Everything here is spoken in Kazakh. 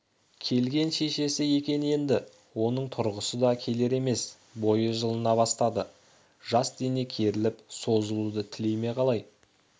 келген шешесі екен енді оның тұрғысы да келер емес бойы жылына бастады жас дене керіліп-созылуды тілей ме қалай